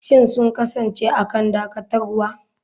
Shin sun kasance a kan dakatarwa?